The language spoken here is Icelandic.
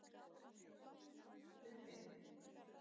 Kleppi